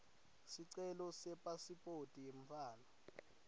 sicelo sepasiphoti yemntfwana